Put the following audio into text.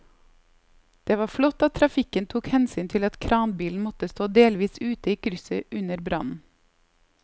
Det var flott at trafikken tok hensyn til at kranbilen måtte stå delvis ute i krysset under brannen.